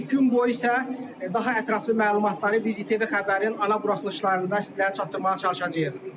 Gün boyu isə daha ətraflı məlumatları biz İTV Xəbərin ana buraxılışlarında sizlərə çatdırmağa çalışacağıq.